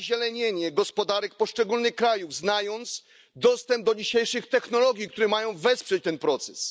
zazielenienie gospodarek poszczególnych krajów, znając dzisiejszy dostęp do technologii, które mają wesprzeć ten proces?